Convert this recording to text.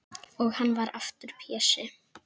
Og hann varð aftur Pési.